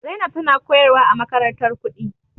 Zainab tana koyarwa a makarantar kuɗi.